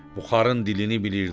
Buxarın dilini bilirdi.